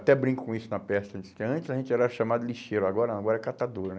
Até brinco com isso na peça antes, que antes a gente era chamado de lixeiro, agora agora é catador, né?